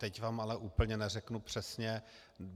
Teď vám ale úplně neřeknu přesně.